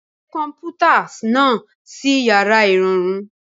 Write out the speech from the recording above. Gbé kọ̀m̀pútà náà sí yàrá ìrọ̀rùn.